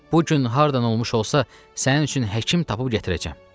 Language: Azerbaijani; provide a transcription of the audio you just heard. Bu gün hardan olmuş olsa, sənin üçün həkim tapıb gətirəcəm.